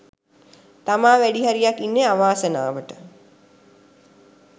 තමා වැඩිහරියක් ඉන්නේ අවාසනාවට.